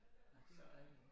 Nåh det var dejligt ja